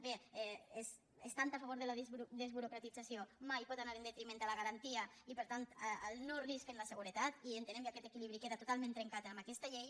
bé estant a favor de la desburocratització mai pot anar en detriment de la garantia i per tant del no risc en la seguretat i entenem que aquest equilibri queda totalment trencat amb aquesta llei